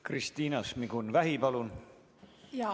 Kristina Šmigun-Vähi, palun!